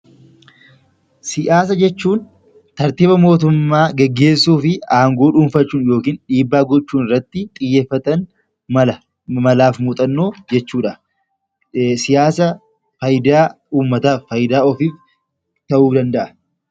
Siyaasa jechuun tartiiba mootummaa gaggeessuu fi aangoo dhuunfachuu yookaan dhiibbaa gochuu irratti xiyyeeffatan, malaa fi muuxannoo jechuudha. Siyaasni faayidaa uummataaf faayidaa ofiif ta'uu ni danda’a.